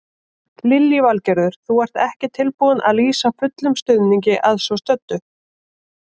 Lillý Valgerður: Þú ert ekki tilbúinn að lýsa fullum stuðningi að svo stöddu?